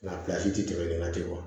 Lafiya si tɛ tɛmɛ ne na ten